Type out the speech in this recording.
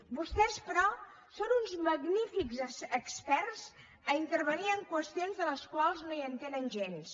vostès però són uns magnífics experts a intervenir en qüestions de les quals no hi entenen gens